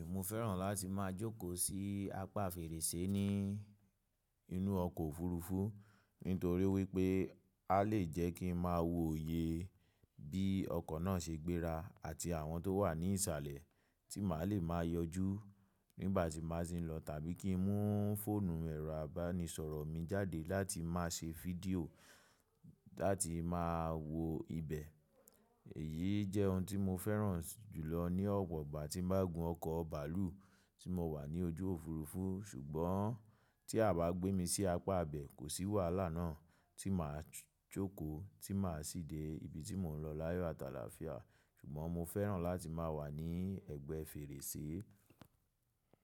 Mo fẹ́ràn láti máa jókòó sí apá fèrèsé ní inú ọkọ̀ òfurufú nítorí wípé a lè jẹ́ kí n máa wo oye bí ọkọ̀ náà ṣe gbéra àti àwọn tó wà ní ìsàlẹ̀ tí màá le máa yọjú nígbà tí màá sí ń lọ tàbí kí n mú fóònù ẹ̀rọ àbánisọ̀rọ̀ mi jáde láti máa ṣe fídíò láti máa wo ibẹ̀. Èyí jẹ́ ohun tí mo fẹ́ràn jùlọ ní ọwọ́ ìgbà tí máa gún ọkọ̀ bàálù tí mo wà ní ojú òfurufú. Ṣùgbọ́n tí a bá gbé mi sí apá abẹ́, kò sí wàhálà náà tí màá jókòó tí màá ṣì dé ibi tí mò ń lọ láyọ àtàlàáfíà. Ṣùgbọ́n mo fẹ́ràn láti máa wà ní ẹ̀gbẹ́ fèrèsé.